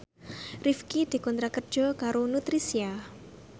Rifqi dikontrak kerja karo Nutricia